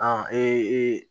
Ɔ